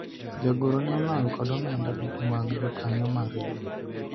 jagoro ne olal kod omenda duto mag jokanyo mar riwruok